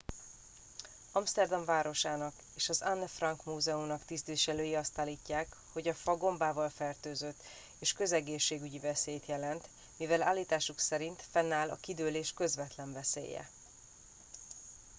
amszterdam városának és az anne frank múzeumnak tisztviselői azt állítják hogy a fa gombával fertőzött és közegészségügyi veszélyt jelent mivel állításuk szerint fennáll a kidőlés közvetlen veszélye